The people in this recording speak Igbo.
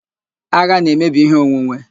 Agha na-emebi ihe onwunwe